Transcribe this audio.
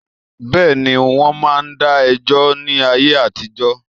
Bẹ́ẹ̀ni, wọ́n ma n dá ẹjọ́ ni ayé àtijọ́